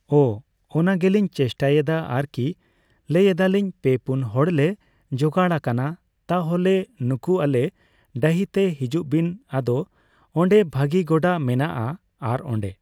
ᱚ ᱚᱱᱟᱜᱮᱞᱤᱧ ᱪᱮᱥᱴᱟᱭᱮᱫᱟ ᱟᱨᱠᱤ ᱾ᱞᱟᱹᱭ ᱮᱫᱟᱞᱤᱧ ᱯᱮ ᱯᱩᱱ ᱦᱚᱲ ᱞᱮ ᱡᱚᱜᱟᱲ ᱟᱠᱟᱱᱟ ᱛᱟᱦᱚᱞᱮ ᱱᱩᱠᱩ ᱟᱞᱮ ᱰᱟᱹᱦᱤ ᱛᱮ ᱦᱤᱡᱩᱜ ᱵᱤᱱ ᱟᱫᱚ ᱚᱸᱰᱮ ᱵᱷᱟᱹᱜᱤ ᱜᱚᱰᱟ ᱢᱮᱱᱟᱜᱼᱟ ᱟᱨ ᱚᱸᱰᱮ ᱾